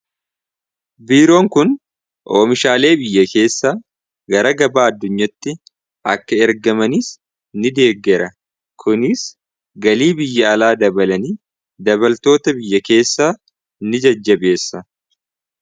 biiroon kun oomishaalee biyya keessa gara gabaa addunyatti akka ergamaniis ni deeggera kuniis galii biyya alaa dabalanii dabaltoota biyya keessaa ni jajjabeessa